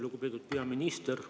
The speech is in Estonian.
Lugupeetud peaminister!